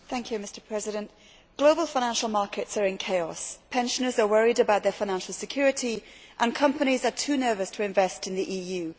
Mr President, global financial markets are in chaos, pensioners are worried about their financial security and companies are too nervous to invest in the EU.